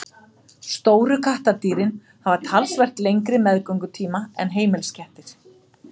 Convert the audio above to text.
Stóru kattardýrin hafa talsvert lengri meðgöngutíma en heimiliskettir.